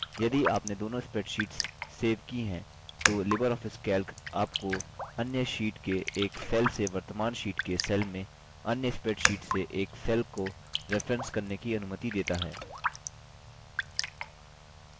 यदि आपने दोनों स्प्रैडशीट्स सेव की हैं तो लिबर ऑफिस कैल्क आपको अन्य शीट के एक सेल से वर्तमान शीट के सेल में अन्य स्प्रैडशीट से एक सेल को रेफरेंस करने की अनुमति देता है